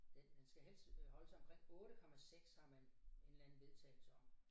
Den den skal helst øh holde sig omkring 8 komma 6 har man en eller anden vedtagelse om